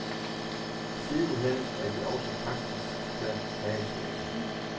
Sidenhen er de også praktiske hagesmække.